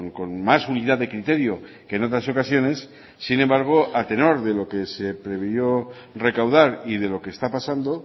con más unidad de criterio que en otras ocasiones sin embargo a tenor de lo que se previó recaudar y de lo que está pasando